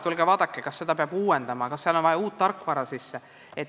Tulge vaadake, kas seda peab uuendama, kas sinna on vaja uut tarkvara.